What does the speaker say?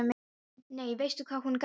Nei, veistu hvað hún gaf mér?